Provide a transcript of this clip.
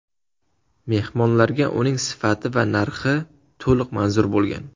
Mehmonlarga uning sifati va narxi to‘liq manzur bo‘lgan.